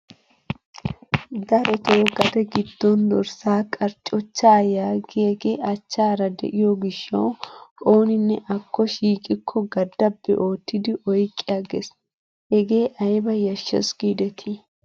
Darotoo gade giddon dorssaa qarchochaa yaagiyaagee achchaara de'iyo gishshawu oninne akko shiiqikko gadabbi oottidi oyqqi aggees. hegee ayba yashshees gidetii!